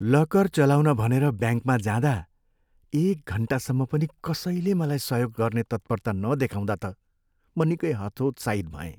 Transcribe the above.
Locker चलाउन भनेर ब्याङ्कमा जाँदा एक घन्टासम्म पनि कसैले मलाई सहयोग गर्ने तत्परता नदेखाउँदा त म निकै हतोत्साहित भएँ।